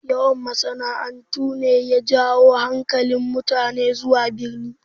Yawan masana'antu ne ya jawo hankalin mutane zuwa birni